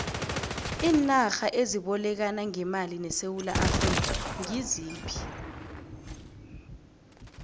iinarha ezibolekana ngemali nesewula afrika ngiziphi